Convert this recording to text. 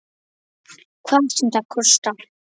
Hvað sem það kostar.